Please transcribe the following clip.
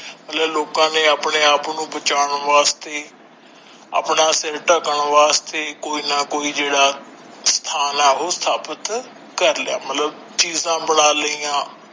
ਮਤਲਬ ਲੋਕਾਂ ਨੇ ਆਪਣੇ ਆਪ ਨੂੰ ਬਚਾਉਣ ਵਾਸਤੇ ਆਪਣਾ ਸਿਰ ਢੱਕਣ ਵਾਸਤੇ ਕੋਈ ਨ ਕੋਈ ਜਿਹੜਾ ਸਥਾਨ ਆ ਉਹ ਸਥਾਪਿਤ ਕਰ ਲਿਆ ਮਤਲਬ ਚੀਜਾਂ ਬਣਾ ਲਈਆਂ।